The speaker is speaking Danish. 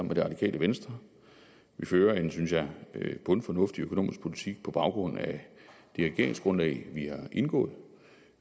med det radikale venstre vi fører en synes jeg bundfornuftig økonomisk politik på baggrund af det regeringsgrundlag vi har indgået